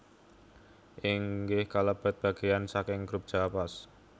inggih kalebet bagéyan saking Grup Jawa Pos